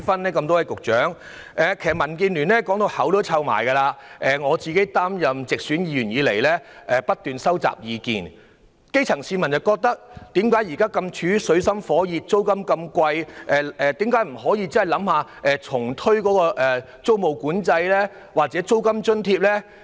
民建聯已說過很多次，而我自擔任直選議員以來亦不斷收集意見，既然基層市民現正處於水深火熱，又面對高昂的租金，為何政府不考慮重新推出租務管制或提供租金津貼？